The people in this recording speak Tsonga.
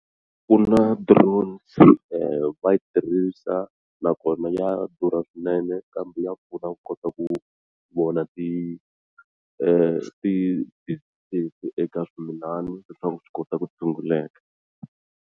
Ku na drones va yi tirhisa nakona ya durha swinene kambe ya pfuna ku kota ku vona ti ti eka swimilana leswaku swi kota ku tshunguleka.